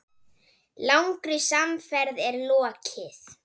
Langri samferð er lokið.